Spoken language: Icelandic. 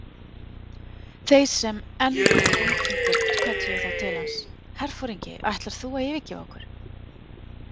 Þeir sem enn voru umkringdir kölluðu þá til hans: Herforingi, ætlar þú að yfirgefa okkur?